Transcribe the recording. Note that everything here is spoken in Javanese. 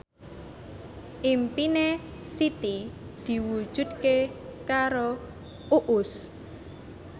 impine Siti diwujudke karo Uus